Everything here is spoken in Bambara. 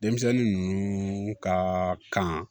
Denmisɛnnin ninnu ka kan